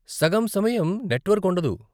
సగం సమయం నెట్వర్క్ ఉండదు.